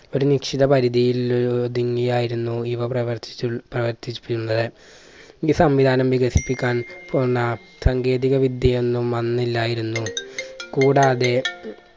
ഒരു നിശ്ചിത പരിധിയിൽ ഒതുങ്ങിയായിരുന്നു ഇവ പ്രവർത്തിച്ചു പ്രവർത്തിപ്പിച്ചൂള്ളത്. ഈ സംവിധാനം വികസിപ്പിക്കാൻ പോന്ന സാങ്കേതിക വിദ്യയൊന്നും അന്നില്ലായിരുന്നു. കൂടാതെ